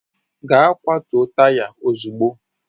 Gaa kwatuo taya ozugbo!